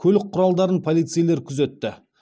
көлік құралдарын полицейлер күзетті